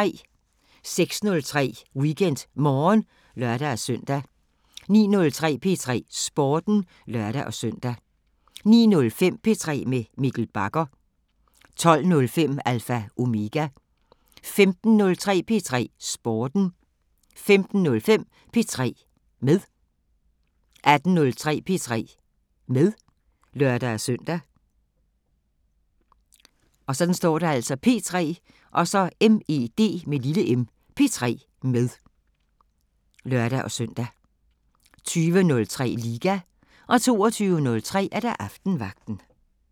06:03: WeekendMorgen (lør-søn) 09:03: P3 Sporten (lør-søn) 09:05: P3 med Mikkel Bagger 12:05: Alpha Omega 15:03: P3 Sporten 15:05: P3 med 18:03: P3 med (lør-søn) 20:03: Liga 22:03: Aftenvagten